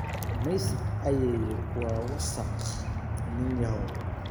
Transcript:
Maydh ayeeyo, waa wasakh, ninyahow.